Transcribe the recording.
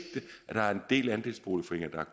at der er en del andelsboligforeninger